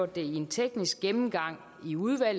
ind til noget af